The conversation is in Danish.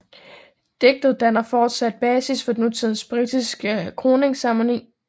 Digtet danner fortsat basis for nutidens britiske kroningsceremoni